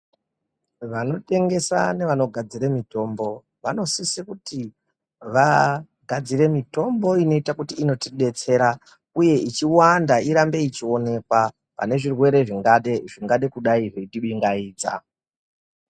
Vanotengesa nevanogadzire mitombo vanosise kuti vagadzire mitombo inoita kuti inotidetsera uye ichi wanda irambe ichionekwa pane zvirwere zvingadekudai zveitiringaidza.